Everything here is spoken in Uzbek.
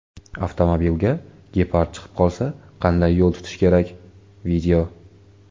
Avtomobilga gepard chiqib qolsa qanday yo‘l tutish kerak: video.